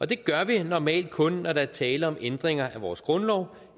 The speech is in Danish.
det gør vi normalt kun når der er tale om ændringer af vores grundlov